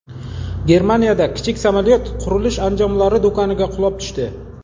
Germaniyada kichik samolyot qurilish anjomlari do‘koniga qulab tushdi.